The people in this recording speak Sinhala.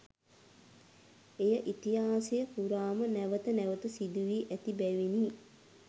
එය ඉතිහාසය පුරාම නැවත නැවත සිදු වී ඇති බැවිනි.